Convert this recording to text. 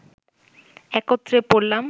একত্রে পড়লাম